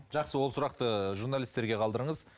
жақсы ол сұрақты журналистерге қалдырыңыз